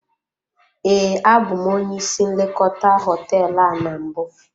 Ee, abụ m onye ịsị nlekọta hoteelu a na mbụ.